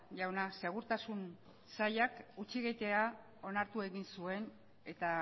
jauna segurtasun sailak hutsegitea onartu egin zuen eta